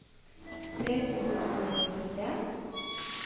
tre tusen to hundre og trettien